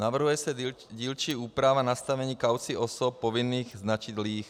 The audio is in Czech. Navrhuje se dílčí úprava nastavení kaucí osob povinných značit líh.